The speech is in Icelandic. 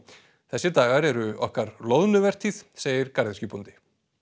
þessir dagar eru okkar loðnuvertíð segir garðyrkjubóndi